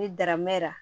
Ni daramɛ la